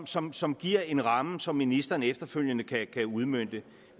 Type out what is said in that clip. som som giver en ramme som ministeren efterfølgende kan udmønte